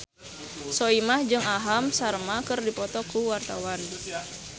Soimah jeung Aham Sharma keur dipoto ku wartawan